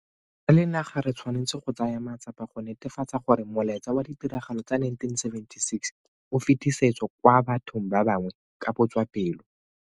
Re le naga re tshwanetse go tsaya matsapa go netefatsa gore molaetsa wa ditiragalo tsa 1976 o fetisetswa kwa bathong ba bangwe ka botswapelo.